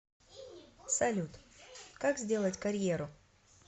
салют как сделать карьеру